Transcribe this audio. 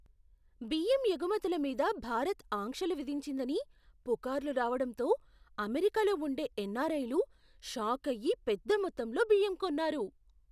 బియ్యం ఎగుమతుల మీద భారత్ ఆంక్షలు విధించిందని పుకార్లు రావడంతో అమెరికాలో ఉండే ఎన్ఆర్ఐలు షాకయ్యి పెద్దమొత్తంలో బియ్యం కొన్నారు.